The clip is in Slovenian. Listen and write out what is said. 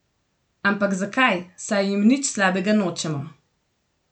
Ampak zakaj, saj jim nič slabega nočemo.